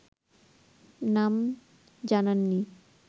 নাম জানাননি